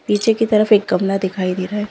पीछे कि तरफ एक कमरा दिखाई दे रहा है ।